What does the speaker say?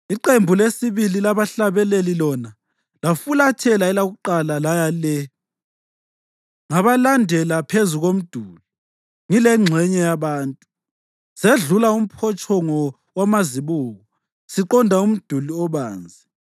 Iqembu lesibili labahlabeleli lona lafulathela elakuqala laya le. Ngabalandela phezu komduli ngilengxenye yabantu, sedlula uMphotshongo waMaziko siqonda uMduli Obanzi,